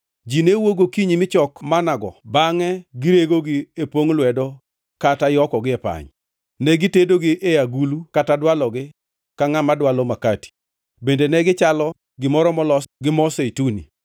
Ji ne wuok gokinyi michok manna-go bangʼe giregogi e pongʼ lwedo kata yokogi e pany. Ne gitedogi e agulu kata dwalogi ka ngʼama dwalo makati. Bende ne gichalo gimoro molos gi mo zeituni.